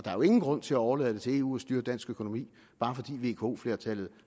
er jo ingen grund til at overlade til eu at styre dansk økonomi bare fordi vko flertallet